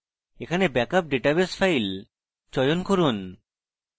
এখানে backup database file চয়ন করুন